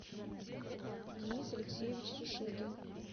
денис алексеевич шишигин